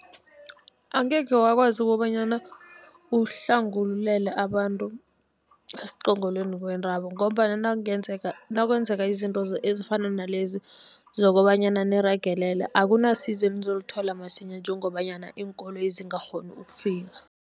Angekhe wakwazi kobanyana uhlangulele abantu esiqongolweni kwentaba, ngombana nakungenzeka nakwenzeka izinto ezifana nalezi zokobanyana niragelelwe akunasizo enizolithola msinya, njengobanyana iinkoloyi zingakghoni ukufika.